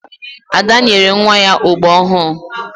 Ada nyere nwa ya ogbo ọhụụ.